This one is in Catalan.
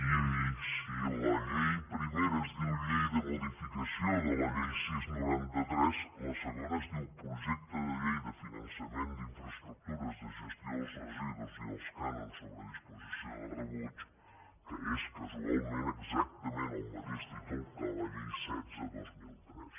i si la llei primera es diu llei de modificació de la llei sis noranta tres la segona es diu projecte de llei de finançament d’infraestructures de gestió dels residus i dels cànons sobre disposició de rebuig que és casualment exacta·ment el mateix títol que la llei setze dos mil tres